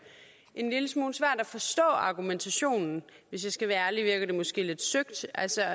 en lille smule svært at forstå argumentationen hvis jeg skal være ærlig virker det måske lidt søgt altså